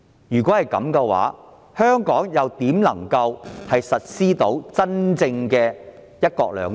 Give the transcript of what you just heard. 如果是這樣，香港如何能夠施行真正的"一國兩制"？